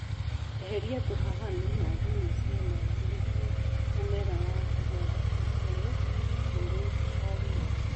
Eheria tũhahami na thuna cia maĩĩ nĩguo mũmera wa kahũa ũkũre ũri o wika